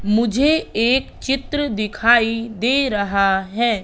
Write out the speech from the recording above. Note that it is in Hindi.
मुझे एक चित्र दिखाई दे रहा है।